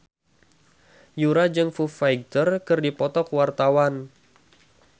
Yura jeung Foo Fighter keur dipoto ku wartawan